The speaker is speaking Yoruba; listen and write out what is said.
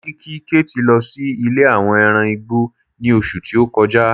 mo ni kí kate lo sí ilè àwọn ẹran igbó ni oṣù ti o kọjá